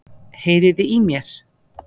Heyriði í mér?